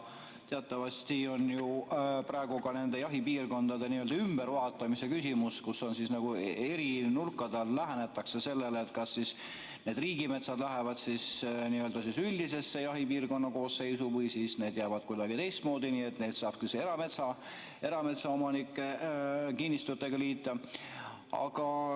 Teatavasti on praegu nende jahipiirkondade ümbervaatamise küsimus, kus nagu eri nurkade alt lähenetakse sellele, kas need riigimetsad lähevad üldise jahipiirkonna koosseisu või jäävad kuidagi teistmoodi, nii et neid saab erametsaomanike kinnistutega liita.